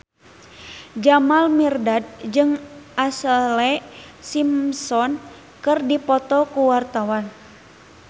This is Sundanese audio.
Jamal Mirdad jeung Ashlee Simpson keur dipoto ku wartawan